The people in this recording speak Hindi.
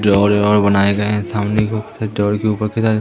बनाए गए है सामने के उस के ऊपर के सारे--